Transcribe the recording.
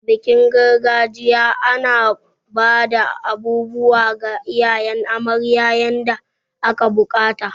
A bikin gargajiya, ana bada abubuwa ga iyayen amarya yanda aka bukata.